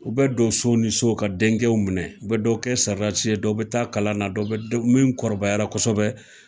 U bɛ don so ni so ka denkɛw minɛ ,u bɛ dɔ kɛ sarasi ye dɔw bɛ taa kalan na, dɔ bɛ min kɔrɔbayara kosɛbɛ